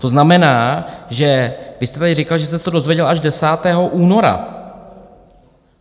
To znamená, že vy jste tady říkal, že jste se to dozvěděl až 10. února.